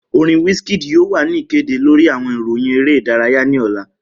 Orin Wizkid yoo wa ni ikede lori awọn iroyin ere idaraya ni ọla.